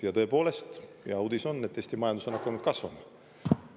Ja tõepoolest, hea uudis on, et Eesti majandus on hakanud kasvama.